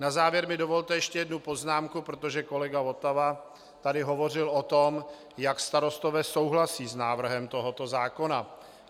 Na závěr mi dovolte ještě jednu poznámku, protože kolega Votava tady hovořil o tom, jak starostové souhlasí s návrhem tohoto zákona.